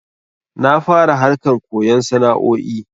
Na fara harkan koyon sana'o'i